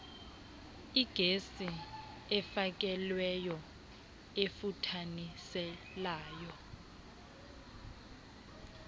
igesi efakelweyo efuthaniselayo